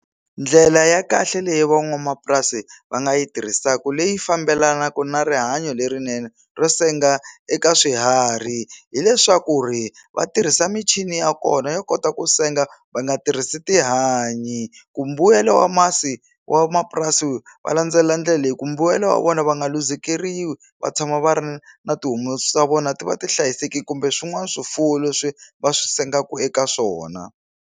Ndlela ya kahle leyi van'wamapurasi va nga yi tirhisaku leyi fambelanaka na rihanyo lerinene ro senga eka swiharhi hileswaku ri va tirhisa michini ya kona yo kota ku senga va nga tirhisi tihanyi ku mbuyelo wa masi wa mapurasi va landzelela ndlela leyi ku mbuyelo wa vona va nga luzekeriwa va tshama va ri na tihomu swa vona ti va ti hlayisekile kumbe swin'wana swifuwo leswi va swi sengaku eka swona.